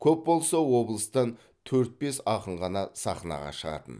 көп болса облыстан төрт бес ақын ғана сахнаға шығатын